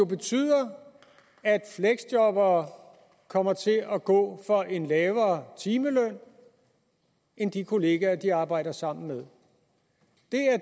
betyder at fleksjobbere kommer til at gå for en lavere timeløn end de kolleger de arbejder sammen med